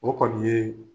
O kɔni ye